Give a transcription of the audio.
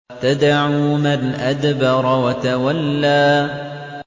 تَدْعُو مَنْ أَدْبَرَ وَتَوَلَّىٰ